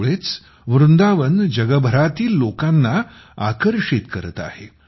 त्यामुळेच वृंदावन जगभरातील लोकांना आकर्षित करत आहे